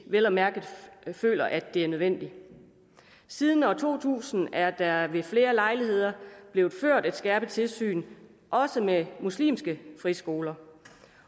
vel at mærke føler at det er nødvendigt siden år to tusind er der ved flere lejligheder blevet ført et skærpet tilsyn også med muslimske friskoler